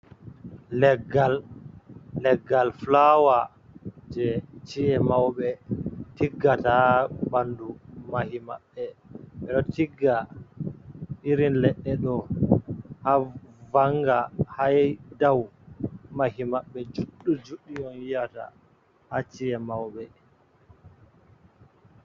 Leggal fulawa jei chi’e mauɓe, tiggata ɓandu mahi maɓɓe ɓe ɗo tigga irin leɗɗe ɗo ha vanga ha dou mahi maɓɓe juɗɗi juɗɗi on yiyata ha chi’e mauɓe.